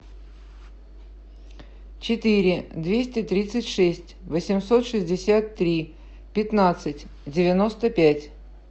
четыре двести тридцать шесть восемьсот шестьдесят три пятнадцать девяносто пять